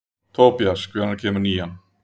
Tobías, hvenær kemur nían?